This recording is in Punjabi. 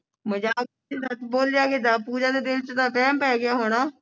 ਮਜਾਕ ਦੇ ਵਿਚ ਦਸ ਬੋਲਿਆ ਕਿੱਦਾਂ ਪੂਜਾ ਦੇ ਦਿਲ ਵਿੱਚ ਤਾਂ ਵੈਮ ਪੈ ਗਿਆ ਹੋਣਾ